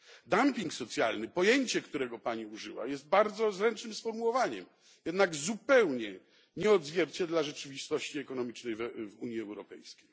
Dumping socjalny pojęcie, którego Pani użyła jest bardzo zręcznym sformułowaniem, jednak zupełnie nie odzwierciedla rzeczywistości ekonomicznej w Unii Europejskiej.